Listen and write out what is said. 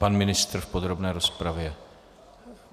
Pan ministr v podrobné rozpravě.